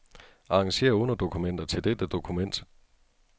Arrangér underdokumenter til dette dokument.